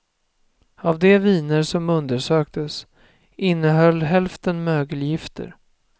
Av de viner som undersöktes innehöll hälften mögelgifter.